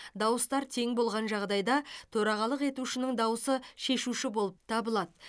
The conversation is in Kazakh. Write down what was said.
дауыстар тең болған жағдайда төрағалық етушінің дауысы шешуші болып табылады